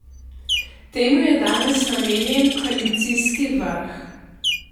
Temu je danes namenjen koalicijski vrh.